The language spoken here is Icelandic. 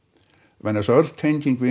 vegna þess að öll tenging við